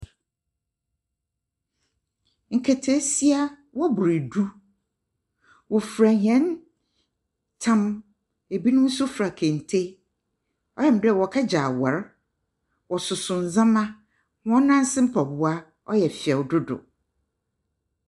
Nketsesia, wɔbor du. Wɔfura hɛn tam. Ebinim nso fura kente. Ɔyɛ me dɛ wɔrekɛgye awar. Wɔssoso ndzɛma. Wɔn nan ase mpɔboa ɔyɛ fɛ dodow.